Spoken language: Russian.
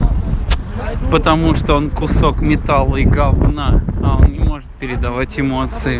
потому что он кусок металла и говна а он не может передавать эмоции